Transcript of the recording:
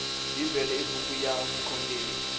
bibele i buku ya vukhongeri